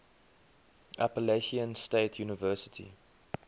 appalachian state university